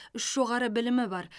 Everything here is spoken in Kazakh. үш жоғары білімі бар